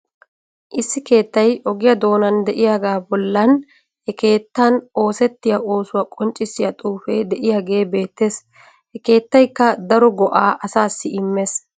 Issi keettay ogiya doonaan de'iyagaa bollan he keettan oosettiya oosuwa qonccissiya xuufee de'iyagee beettees. Ha keettaykka daro go'aa asaassi immees.